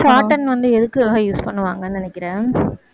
shorthand வந்து எதுக்காக use பண்ணுவாங்கன்னு நினைக்கிற